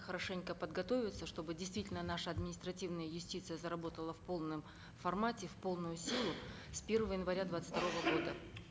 хорошенько подготовиться чтобы действительно наша административная юстиция заработала в полном формате в полную силу с первого января двадцать второго года